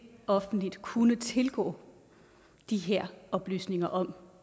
offentligt bør kunne tilgå de her oplysninger om